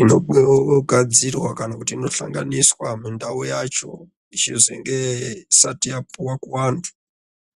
inogadzirwa kana ino sahlaniswa mundau mwacho isati yapiwa kuvantu.